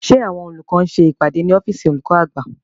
Ṣé àwọn olùkọ́ ń ṣe ìpàdé ní ọ́fìsìn olùkọ́ àgbà?